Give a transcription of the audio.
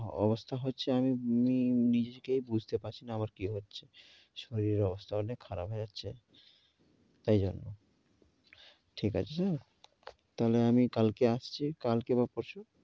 অবস্থা হচ্ছে, আমি নিজেকে বুঝতে পারছি না আমার কি হচ্ছে। শরীরের অবস্থা অনেক খারাপ হয়ে যাচ্ছে, এই জন্য। ঠিক আছে sir? তাইলে আমি কালকে আসছি, কালকে বা পরশু।